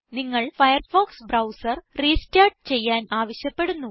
നിങ്ങൾ Firefox browser restart ചെയ്യാൻ ആവശ്യപ്പെടുന്നു